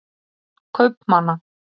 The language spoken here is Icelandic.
börn kaupmanna